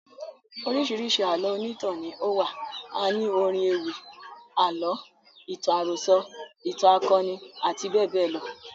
Oríṣiríṣi Àlọ́ onítàn ni ó wà. A ní orin ewì, àlọ́, ìtàn àròso, ìtàn akoni àti bẹ́ẹ̀ bẹ́ẹ̀ lọ.